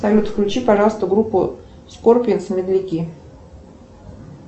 салют включи пожалуйста группу скорпионс медляки